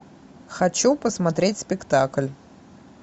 хочу посмотреть спектакль